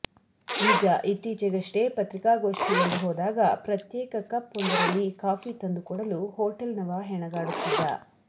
ನಿಜ ಇತ್ತೀಚೆಗಷ್ಟೇ ಪತ್ರಿಕಾಗೋಷ್ಟಿಗೆಂದು ಹೋದಾಗ ಪ್ರತ್ಯೇಕ ಕಪ್ ಒಂದರಲ್ಲಿ ಕಾಫಿ ತಂದುಕೊಡಲು ಹೋಟೇಲ್ ನವ ಹೆಣಗಾಡುತ್ತಿದ್ದ